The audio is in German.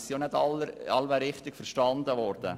Diese sind wohl nicht alle richtig verstanden worden.